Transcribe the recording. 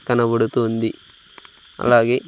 కనబడుతుంది అలాగే--